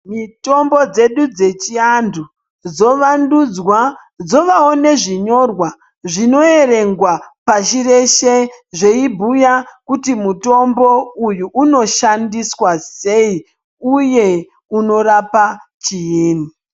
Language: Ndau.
Mitombo dzedu dzechiantu dzovandudzwa dzovawo nezvinyorwa zvinoerengwa pashi reshe zveibhuya kuti mutombo uyu unoshandiswa sei uye unorapa chiinyi.